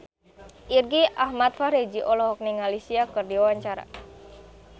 Irgi Ahmad Fahrezi olohok ningali Sia keur diwawancara